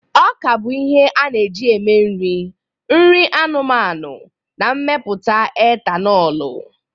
Ọka bụ ihe a na-eji eme nri, nri anụmanụ, na mmepụta etanoolu